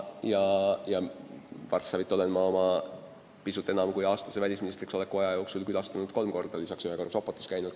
Varssavit olen ma oma pisut enam kui aasta pikkuse välisministriks oleku aja jooksul külastanud kolm korda ja lisaks käinud ühe korra Sopotis.